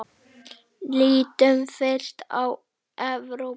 Lítum fyrst á Evrópu.